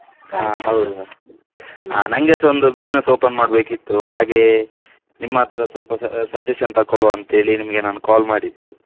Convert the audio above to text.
ಹಾ ಹೌದಾ ಆ ನಂಗೆಸ ಒಂದು business open ಮಾಡ್ಬೇಕಿತ್ತು ಹಾಗೆ ನಿಮ್ಮ್ ಹತ್ರ ಸ್ವಲ್ಪ sa~ suggestion ತಕೊಳ್ವ ಅಂತೇಳಿ ನಿಮ್ಗೆ ನಾನು call ಮಾಡಿದ್ದು.